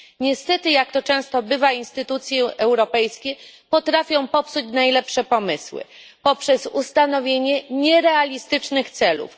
Niestety, jak to często bywa, instytucje europejskie potrafią popsuć najlepsze pomysły poprzez ustanowienie nierealistycznych celów.